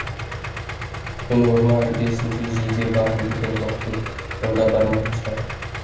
мен орман іргесінде жиде барын білген жоқпын сонда бармайынша